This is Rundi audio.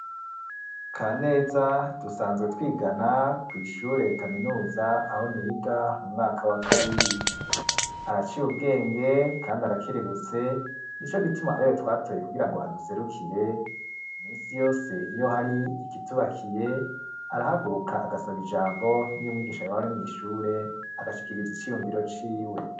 Kaneza dusanzwe twigana kw' ishure kaminuza aho niga mu mwaka wa kabiri, araciy' ubwenge kandi arakerebutse ni co gituma ari we twatoye kugira ngo aduserukire, imisi yose iyo hari ikitubakiye arahaguruka agasab'ijambo n'iy' umwigisha yob'ari mw' ishure agashikiriza iciyumviro ciwe